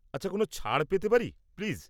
আচ্ছা, কোনও ছাড় পেতে পারি, প্লিজ?